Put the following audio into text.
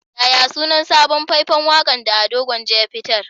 Yaya sunan sabon fai-fan waƙa da Ado Gwanja ya fitar?